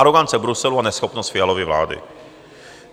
Arogance Bruselu a neschopnost Fialovy vlády.